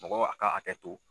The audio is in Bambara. Mɔgɔ a ka a hakɛ to.